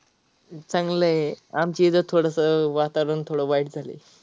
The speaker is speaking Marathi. चांगल आहे आमच्या इथ थोडस वातावरण थोड वाईट झालय.